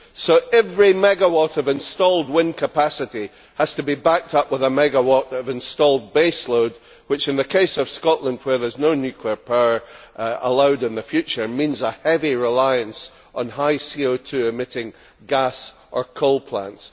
So every megawatt of installed wind capacity has to be backed up with a megawatt of installed baseload which, in the case of Scotland where no nuclear power will be allowed in the future, means a heavy reliance on high CO 2 emitting gas or coal plants.